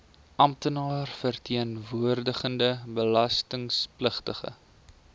amptenaar verteenwoordigende belastingpligtige